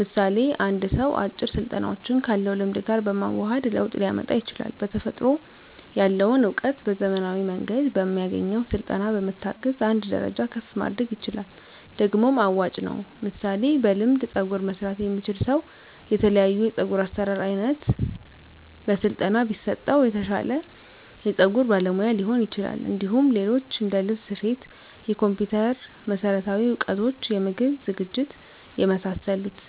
ምሳሌ አንድ ሰው አጭር ስልጠናዎችን ካለው ልምድ ጋር በማዋሀድ ለውጥ ሊያመጣ ይችላል በተፈጥሮ ያለውን እውቀት በዘመናዊ መንገድ በሚያገኘው ስልጠና በመታገዝ አንድ ደረጃ ከፍ ማድረግ ይችላል ደግሞም አዋጭ ነው ምሳሌ በልምድ ፀጉር መስራት የሚችል ሰው የተለያዮ የፀጉር አሰራር አይነት በስለጠና ቢሰጠው የተሻለ የፀጉር ባለሙያ ሊሆን ይችላል እንዲሁም ሌሎች እንደልብስ ስፌት የኮምፒተር መሠረታዊ እውቀቶች የምግብ ዝግጅት የመሳሰሉት